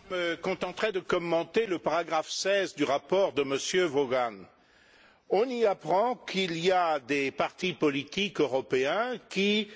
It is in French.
Monsieur le Président, je me contenterai de commenter le paragraphe 16 du rapport de M. Vaughan. On y apprend qu'il y a des partis politiques européens qui